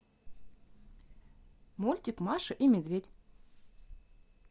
мультик маша и медведь